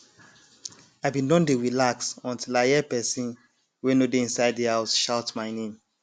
i bin don dey relax until i hear person wey no dey inside the house shout my name